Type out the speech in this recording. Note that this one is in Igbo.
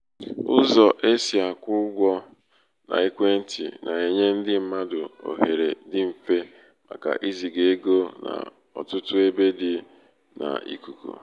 ụzọ̀ e sị̀ àkwụ sị̀ àkwụ ụgwọ̄ n’ekwentị̀ nà-ènye ndị mmadụ̀ òhèrè dị m̀fe màkà izìgà egō n’ọ̀tụtụ ebe dị̄ n’ìkùkù.